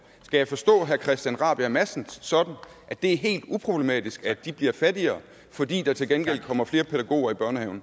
skal jeg forstå herre christian rabjerg madsen sådan at det er helt uproblematisk at de bliver fattigere fordi der til gengæld kommer flere pædagoger i børnehaven